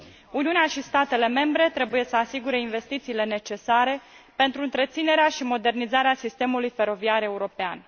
Uniunea și statele membre trebuie să asigure investițiile necesare pentru întreținerea și modernizarea sistemului feroviar european.